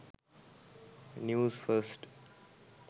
news first